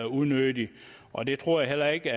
unødigt og det tror jeg heller ikke